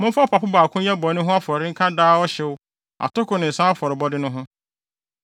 Momfa ɔpapo baako nyɛ bɔne ho afɔrebɔ nka daa ɔhyew, atoko ne nsa afɔrebɔde no ho.